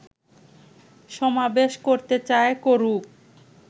সমাবেশ করতে চায়, করুক